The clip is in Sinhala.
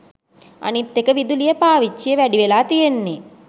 අනිත් එක විදුලිය පාවිච්චිය . වැඩිවෙලා තියෙන්නේ.